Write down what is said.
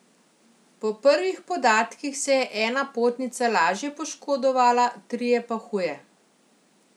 Po prvih podatkih se je ena potnica lažje poškodovala, trije pa huje.